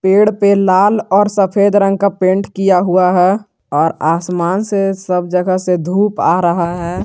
पेड़ पे लाल और सफेद रंग का पेंट किया हुआ है और आसमान से सब जगह से धूप आ रहा है।